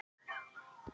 Af því að ég get það.